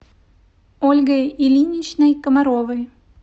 ольгой ильиничной комаровой